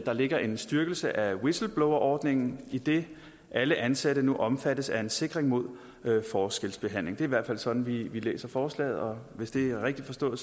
ligger en styrkelse af whistleblowerordningen idet alle ansatte nu omfattes af en sikring mod forskelsbehandling i hvert fald sådan vi læser forslaget hvis det er rigtigt forstået